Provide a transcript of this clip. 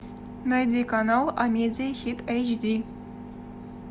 найди канал амедиа хит эйч ди